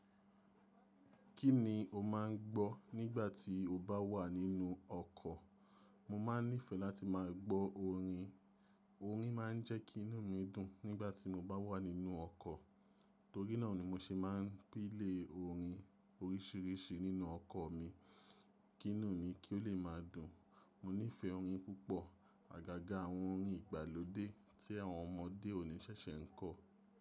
Kí ni o máa ń gbọ́ nígbà tí o bá wà nínú ọkọ̀? Mo máa ń nífẹ̀ẹ́ láti máa gbọ́ orin. Orin máa ń jẹ́ kí inú mi dùn nígbà tí mo bá wà nínú ọkọ̀. Torí náà ni mo ṣe máa ń pi lé orin oríṣiríṣi nínú ọkọ̀ mi, kí inú mi kí ó lè máa dùn. Mo nífẹ̀ẹ́ orin púpọ̀. Àgàgà àwọn orin ìgbàlódé tí àwọn ọmọdé òní ṣẹ̀ṣẹ̀ ń kọ.